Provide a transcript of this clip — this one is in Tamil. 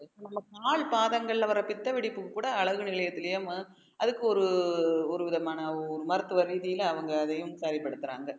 கால் பாதங்கள்ல வர பித்த வெடிப்புக்கு கூட அழகு நிலையத்திலேயே ம~ அதுக்கு ஒரு ஒரு விதமான ஒரு மருத்துவரீதியில அவங்க அதையும் செயல்படுத்துறாங்க